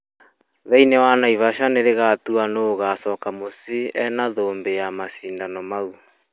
thĩinĩ wa Naivasha nĩrĩgatua nũ ũgaacoka mũciĩ arĩ na thũmbĩ ya macindano macio.